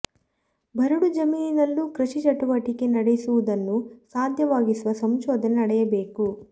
ಬರಡು ಜಮೀನಿನಲ್ಲೂ ಕೃಷಿ ಚಟುವಟಿಕೆ ನಡೆಸುವುದನ್ನು ಸಾಧ್ಯ ವಾಗಿಸುವ ಸಂಶೋಧನೆ ನಡೆಯಬೇಕು